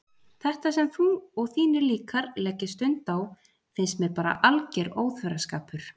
Þetta sem þú og þínir líkar leggið stund á finnst mér bara alger óþverraskapur.